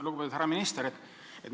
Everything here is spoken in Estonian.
Lugupeetud härra minister!